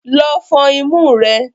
Lọ fọn imú rẹ!